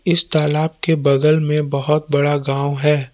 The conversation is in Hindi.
इस तालाब के बगल में बहोत बड़ा गांव है।